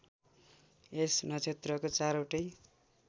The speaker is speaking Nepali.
यस नक्षत्रको चारवटै